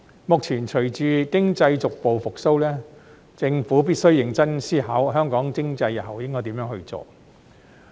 目前隨着經濟逐步復蘇，政府必須認真思考香港經濟日後應該何去何從。